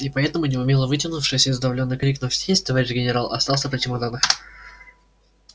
и поэтому неумело вытянувшись и сдавленно крикнув есть товарищ генерал остался при чемоданах